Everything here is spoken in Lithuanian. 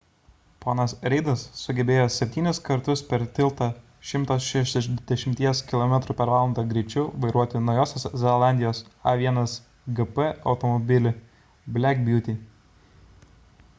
ponas reidas sugebėjo septynis kartus per tiltą 160 km / h greičiu vairuoti naujosios zelandijos a1gp automobilį black beauty